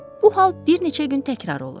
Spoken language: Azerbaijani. Bu hal bir neçə gün təkrar olur.